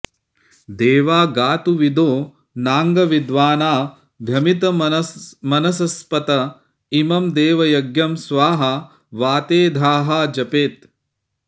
देवा गातुविदो नाङ्गविद्वानाद्भमितमनसस्पत इमं देवयज्ञं स्वाहा वातेधाः जपेत्